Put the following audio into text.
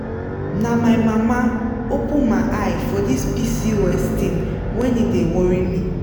na my mama open my eye for this pcos thing when e dey worry me.